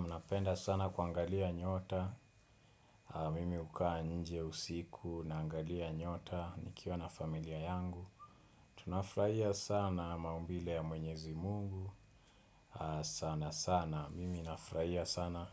Mnapenda sana kuangalia nyota. Mimi hukaa nje usiku na angalia nyota nikiwa na familia yangu. Tunafurahia sana maumbile ya mwenyezi mungu. Sana sana. Mimi nafraia sana.